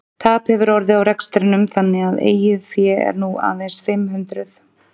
Tap hefur orðið á rekstrinum þannig að eigið fé er nú aðeins fimm hundruð.